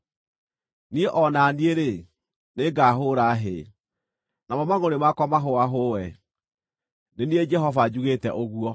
Niĩ o na niĩ-rĩ, nĩngahũũra hĩ, namo mangʼũrĩ makwa mahũahũe. Nĩ niĩ Jehova njugĩte ũguo.”